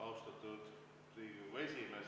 Austatud Riigikogu esimees!